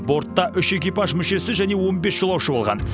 бортта үш экипаж мүшесі және он бес жолаушы болған